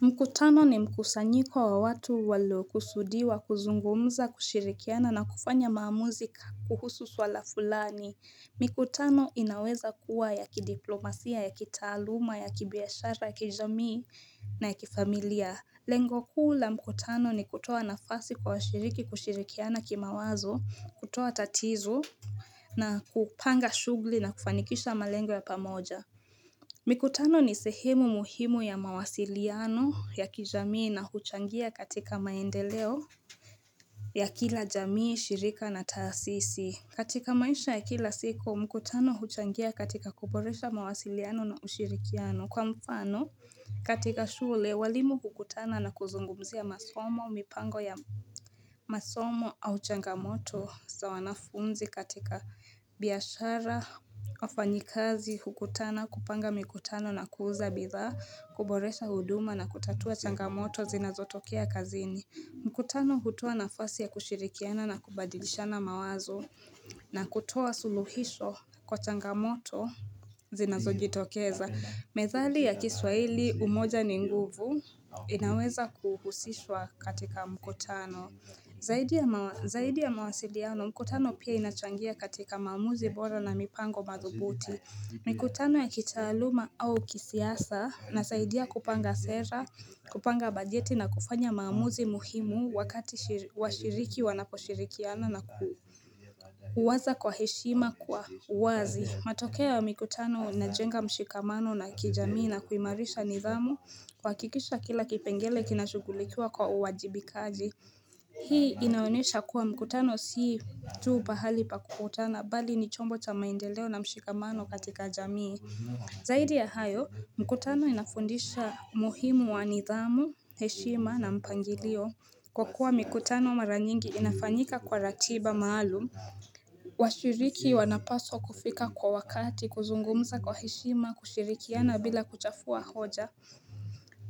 Mkutano ni mkusanyiko wa watu waliokusudiwa, kuzungumza, kushirikiana na kufanya maamuzi ka kuhusu swala fulani. Mkutano inaweza kuwa ya kidiplomasia, ya kitaaluma, ya kibiashara, ya kijamii na ya kifamilia. Lengo kuu la mkutano ni kutoa nafasi kwa washiriki kushirikiana kimawazo, kutoa tatizo, na kupanga shughli na kufanikisha malengo ya pamoja. Mikutano ni sehemu muhimu ya mawasiliano ya kijamii na huchangia katika maendeleo ya kila jamii, shirika na taasisi. Katika maisha ya kila siku, mkutano huchangia katika kuboresha mawasiliano na ushirikiano. Kwa mfano, katika shule, walimu hukutana na kuzungumzia masomo mipango ya masomo au changamoto sa wanafunzi katika biashara, wafanyikazi hukutana kupanga mikutano na kuuza bidhaa kuboresha huduma na kutatua changamoto zinazotokea kazini mkutano hutoa nafasi ya kushirikiana na kubadilishana mawazo na kutoa suluhisho Kwa changamoto Zinazojitokeza Methali ya kiswahili umoja ni nguvu inaweza kuhusishwa katika mkutano Zaidi ya mawasiliano mkutano pia inachangia katika maamuzi bora na mipango madhubuti mikutano ya kitasluma au kisiasa inasaidia kupanga sera kupanga bajeti na kufanya maamuzi muhimu wakati washiriki wanaposhirikiana na kuwaza kwa heshima kwa uwazi matokeo ya mikutano inajenga mshikamano na kijamii na kuimarisha nidhamu kuhakikisha kila kipengele kinashugulikiwa kwa uwajibikaji Hii inaonesha kuwa mkutano si tu pahali pa kukutana bali ni chombo cha maendeleo na mshikamano katika jamii Zaidi ya hayo, mkutano inafundisha muhimu wa nidhamu, heshima na mpangilio Kwa kuwa mkutano mara nyingi inafanyika kwa ratiba maalum washiriki wanapaswa kufika kwa wakati kuzungumza kwa heshima kushirikiana bila kuchafua hoja